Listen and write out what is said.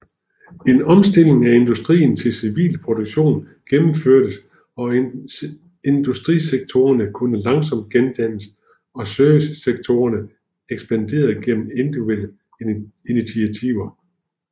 En omstilling af industrien til civil produktion genomførtes og industrisektorerne kunne langsomt gendannes og servicesektorerne ekspanderede gennem individuelle initiativer